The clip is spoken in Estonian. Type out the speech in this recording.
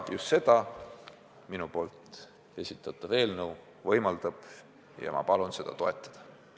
Just seda minu esitatav eelnõu võimaldab ja ma palun seda toetada.